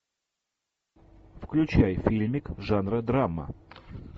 включай фильмик жанра драма